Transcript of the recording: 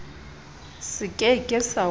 se ke ke sa o